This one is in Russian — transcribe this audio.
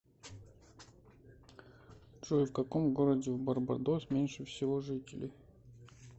джой в каком городе в барбадос меньше всего жителей